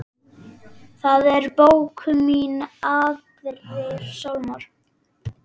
Það er bók mín Aðrir sálmar.